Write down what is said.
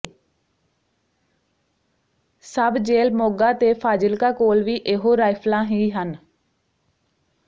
ਸਬ jail Moga ਤੇ ਫਾਜ਼ਿਲਕਾ ਕੋਲ ਵੀ ਇਹੋ ਰਾਈਫਲਾਂ ਹੀ ਹਨ